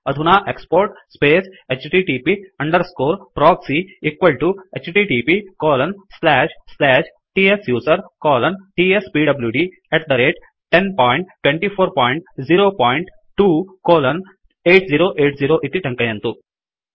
अधुना export space HTTP underscore proxy equal to HTTP colon slash slash tsuser colon tspwd102402 colon 8080 इति टङ्कयन्तु